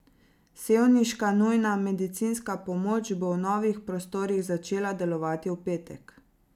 Sevniška nujna medicinska pomoč bo v novih prostorih začela delovati v petek.